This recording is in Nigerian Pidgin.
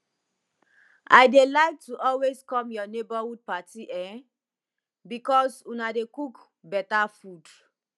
i dey like to always come your neighborhood party eh because una dey cook better food